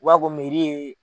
U b'a ko ye